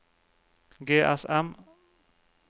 GSM